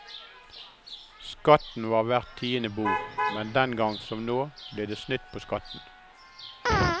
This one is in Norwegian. Skatten var hvert tiende bord, men dengangen som nå, ble det snytt på skatten.